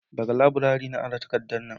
daga laburare na ara takardan nan